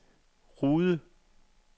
Rude